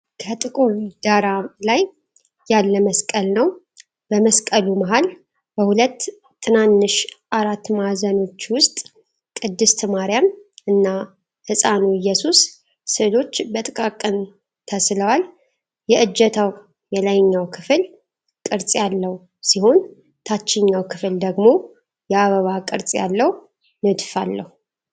ከጥቁር ዳራ ላይ ያለ መስቀል ነው። በመስቀሉ መሃል፣ በሁለት ትናንሽ አራት ማዕዘኖች ውስጥ፣ ቅድስት ማርያም እና ሕፃኑ ኢየሱስ ሥዕሎች በጥቃቅን ተስለዋል። የእጀታው የላይኛው ክፍል ቅርጽ ያለው ሲሆን፣ ታችኛው ክፍል ደግሞ የአበባ ቅርጽ ያለው ንድፍ አለው።